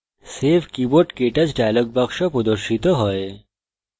save keyboardktouch dialog box প্রদর্শিত হয়